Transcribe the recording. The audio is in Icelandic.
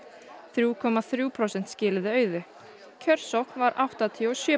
þrjú komma þrjú prósent skiluðu auðu kjörsókn var áttatíu og sjö